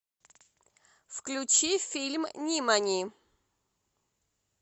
включи фильм нимани